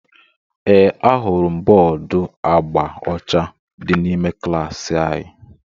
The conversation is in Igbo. Ee, ahụrụ m bọọdu agba ọcha dị n'ime klaasị anyị